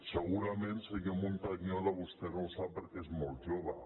segurament senyor montañola vostè no ho sap perquè és molt jove